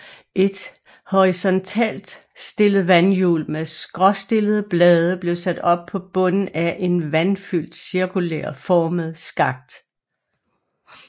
Et horisontalt stillet vandhjul med skråstillede blade blev sat op på bunden af en vandfyldt cirkulær formet skakt